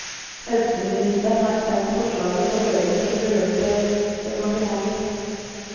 Helseministeren har sendt forslaget på høring til berørte departementer.